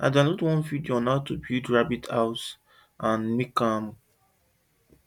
i download one video on how to build rabbit house and to make am